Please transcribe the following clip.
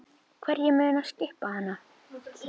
Hverjir munu skipa hana?